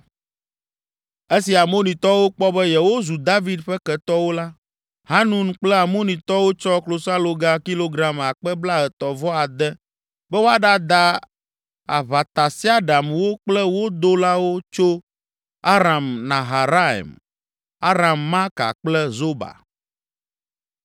Esi Amonitɔwo kpɔ be yewozu David ƒe ketɔwo la, Hanun kple Amonitɔwo tsɔ klosaloga kilogram akpe blaetɔ̃ vɔ ade be woaɖada aʋatasiaɖamwo kple wo dolawo tso Aram Naharaim, Aram Maaka kple Zoba.